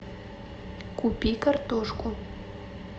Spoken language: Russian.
купи картошку